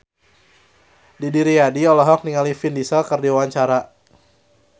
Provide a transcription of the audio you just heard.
Didi Riyadi olohok ningali Vin Diesel keur diwawancara